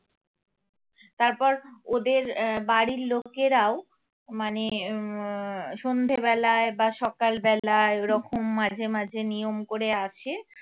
তারপর ওদের আহ বাড়ির লোকেরাও মানে আহ সন্ধ্যে বেলায় বা সকাল বেলায় ওরকম মাঝে মাঝে নিয়ম করে আসে